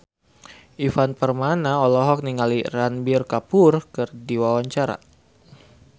Ivan Permana olohok ningali Ranbir Kapoor keur diwawancara